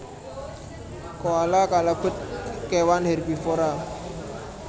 Koala kalebet kewan hèrbivora